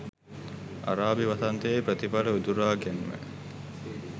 අරාබි වසන්තයේ ප්‍රතිඵල උදුරා ගැන්ම